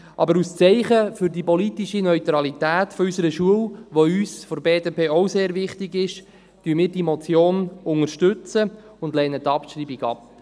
Aber als Zeichen für die politische Neutralität unserer Schule, die uns seitens der BDP ebenfalls sehr wichtig ist, unterstützen wir diese Motion und lehnen die Abschreibung ab.